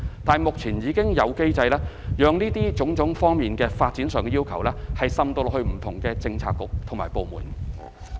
但是，目前已經有機制，讓各項發展上的要求，滲入到不同的政策局及部門。